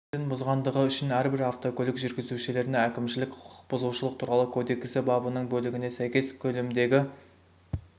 ережелерін бұзғандығы үшін әрбір автокөлік жүргізушілеріне әкімшілік құқық бұзушылық туралы кодексі бабының бөлігіне сайкес көлеміндегі